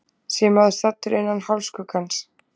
sé maður staddur innan hálfskuggans